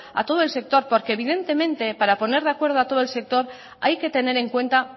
a todo el sector porque evidentemente para poner de acuerdo a todo el sector hay que tener en cuenta